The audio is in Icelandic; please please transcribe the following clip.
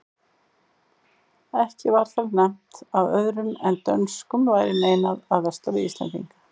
Ekki var þar nefnt að öðrum en dönskum væri meinað að versla við íslendinga.